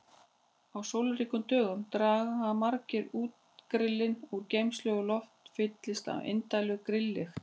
Á sólríkum dögum draga margir útigrillin úr geymslum og loftið fyllist af indælli grilllykt.